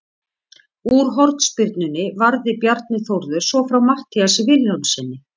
Úr hornspyrnunni varði Bjarni Þórður svo frá Matthíasi Vilhjálmssyni.